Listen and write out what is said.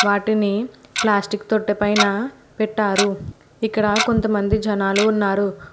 వాటిని ప్లాస్టిక్ తొట్టపైన పెట్టారు ఇక్కడ కొంతమంది జనాలు ఉన్నారు.